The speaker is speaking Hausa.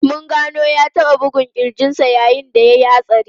Mun gano ya taba bugun kirjin sa yayin da ya yi hatsari.